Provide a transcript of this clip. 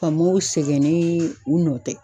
Faamow sɛgɛnen u nɔ tɛ.